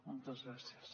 moltes gràcies